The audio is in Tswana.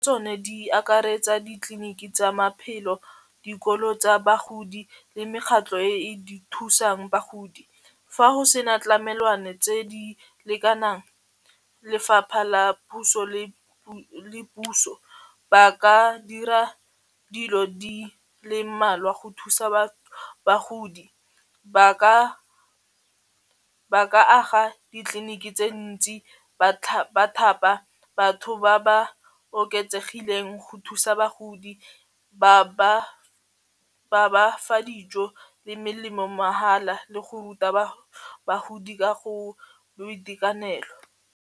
Tsone di akaretsa ditleliniki tsa maphelo dikolo tsa bagodi le mekgatlo e e di thusang bagodi, fa ho se na tlamelwana tse di lekanang lefapha la puso le puso ba ka dira dilo di le mmalwa go thusa bagodi ba ka aga ditleliniki tse ntsi ba thapa batho ba ba oketsegileng go thusa bagodi ba ba fa dijo le melemo mahala le go ruta bagodi ka go boitekanelo.